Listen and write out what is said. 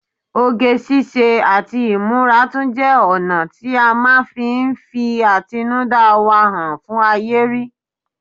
Oge ṣíṣe àti ìmúra tún jẹ́ ọ̀nà tí à máa fi ń fi àtinúdá wa hàn fún ayé rí